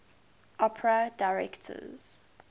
opera directors